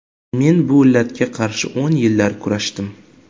Men bu illatga qarshi o‘n yillar kurashdim.